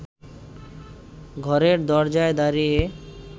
ঘরের দরজায় দাঁড়িয়ে